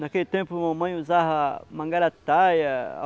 Naquele tempo, mamãe usava mangarataia.